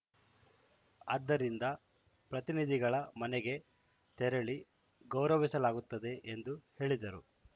ಆದ್ದರಿಂದ ಪ್ರತಿನಿಧಿಗಳ ಮನೆಗೆ ತೆರಳಿ ಗೌರಸಲಾಗುತ್ತಿದೆ ಎಂದು ಹೇಳಿದರು